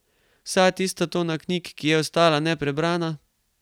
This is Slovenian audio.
Vsa tista tona knjig, ki je ostala neprebrana?